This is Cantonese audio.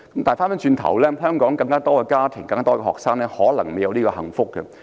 相反，在更多香港家庭成長的學生，可能沒有這種幸福。